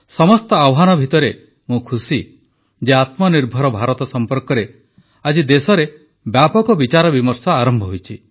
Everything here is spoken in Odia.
ସମସ୍ତ ଆହ୍ୱାନ ଭିତରେ ମୁଁ ଖୁସି ଯେ ଆତ୍ମନିର୍ଭର ଭାରତ ସମ୍ପର୍କରେ ଆଜି ଦେଶରେ ବ୍ୟାପକ ବିଚାରବିମର୍ଶ ଆରମ୍ଭ ହୋଇଛି